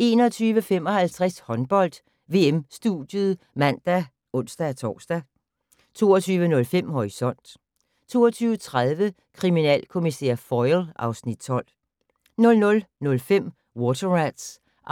21:55: Håndbold: VM-studiet (man og ons-tor) 22:05: Horisont 22:30: Kriminalkommissær Foyle (Afs. 12) 00:05: Water Rats (69:177)